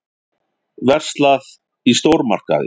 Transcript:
Verslað í stórmarkaði.